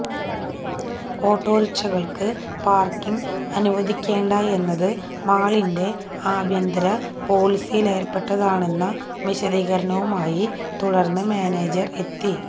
ഓട്ടോറിക്ഷകള്ക്ക് parking അനുവദിക്കേണ്ടയെന്നത് മാളിന്റെ ആഭ്യന്തര പോളിസിയില്പെട്ടതാണെന്ന വിശദീകരണവുമായി തുടര്ന്ന് മാനേജര് എത്തി